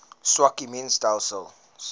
swak immuun stelsels